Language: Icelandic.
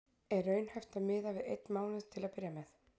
Er raunhæft að miða við einn mánuð til að byrja með?